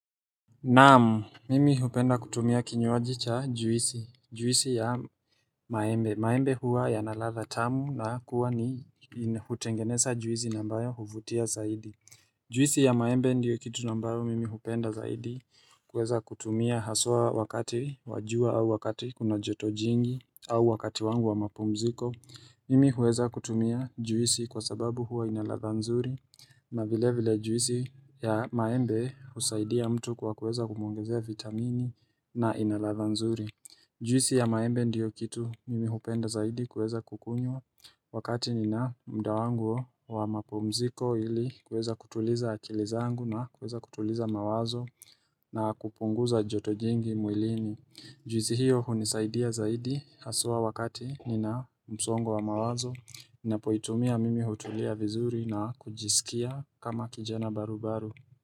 Naam mimi hupenda kutumia kinywaji cha juisi, juisi ya maembe, maembe huwa yanaladha tamu na kuwa ni hutengeneza juisi ambayo huvutia zaidi Juisi ya maembe ndiyo kitu ambayo mimi hupenda zaidi kuweza kutumia haswa wakati wa jua au wakati kuna joto jingi au wakati wangu wa mapumziko Mimi huweza kutumia juisi kwa sababu huwa inaladha nzuri na vile vile juisi ya maembe husaidia mtu kwa kuweza kumongezea vitamini na inaladha nzuri. Juisi ya maembe ndiyo kitu mimi hupenda zaidi kuweza kukunyua wakati nina muda wangu wa mapumziko ili kuweza kutuliza akili zangu na kuweza kutuliza mawazo na kupunguza joto jingi mwilini. Juisi hiyo hunisaidia zaidi haswa wakati nina msongo wa mawazo, napoitumia mimi hutulia vizuri na kujisikia kama kijana barubaru.